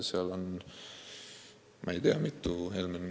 Seal on mitu korrust tühjad.